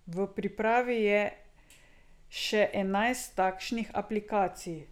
V pripravi je še enajst takšnih aplikacij.